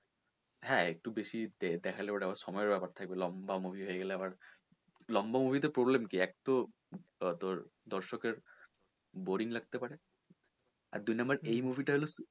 হ্যাঁ একটু বেশি দেখালে ওটা আবার সময় এর ব্যাপার থাকবে লম্বা movie হয়ে গেলে আবার লম্বা movie তে problem কি এক তো আহ তোর দর্শকের boring লাগতে পারে আর দুই number এই movie টা হলো,